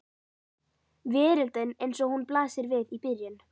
Veröldin eins og hún blasir við í byrjun.